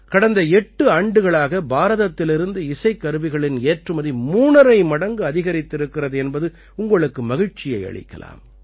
கடந்த 8 ஆண்டுகளாக பாரதத்திலிருந்து இசைக்கருவிகளின் ஏற்றுமதி மூணரை மடங்கு அதிகரித்திருக்கிறது என்பது உங்களுக்கு மகிழ்ச்சியை அளிக்கலாம்